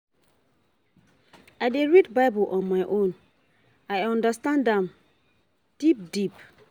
I dey read Bible on my own make I understand am deep deep.